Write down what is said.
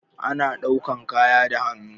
Ana ɗaukan kaya da hannu.